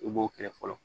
I b'o kɛlɛ fɔlɔ